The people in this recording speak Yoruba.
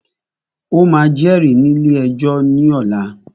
O máà jẹ́rìí ní ilé ẹjọ́ ní ọ̀la!